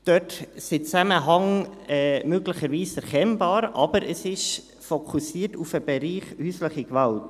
Dort sind die Zusammenhänge möglicherweise erkennbar, aber es fokussiert auf den Bereich häusliche Gewalt.